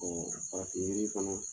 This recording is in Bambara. farafin yiri fana